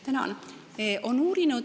Tänan!